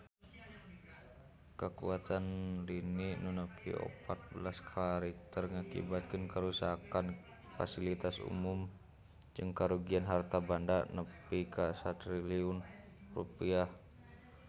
Kakuatan lini nu nepi opat belas skala Richter ngakibatkeun karuksakan pasilitas umum jeung karugian harta banda nepi ka 1 triliun rupiah